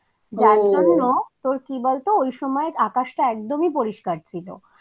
যার জন্য তোর কি বলত আকাশটা একদমই পরিষ্কার ছিল।